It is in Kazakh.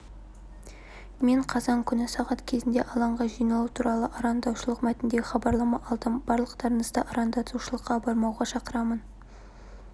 мен қазан күні сағат кезінде алаңға жиналу туралы арандатушылық мәтіндегі хабарлама алдым барлықтарыңызды арандатушылыққа бармауға шақырамын